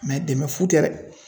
Mɛ dɛmɛ fu tɛ dɛ